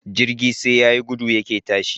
Jirgi sai yayi gudu yake tashi